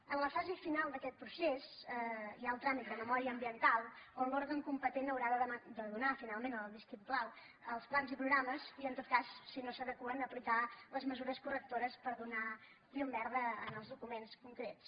en la fase final d’aquest procés hi ha el tràmit de memòria ambiental on l’òrgan competent haurà de donar finalment el vistiplau als plans i programes i en tot cas si no s’adeqüen aplicar les mesures correctores per donar llum verda als documents concrets